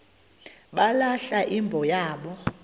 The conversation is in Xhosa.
balahla imbo yabo